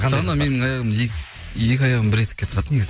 дана менің екі аяғымды бір етікке тығады негізі